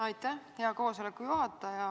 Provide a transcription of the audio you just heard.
Aitäh, hea koosoleku juhataja!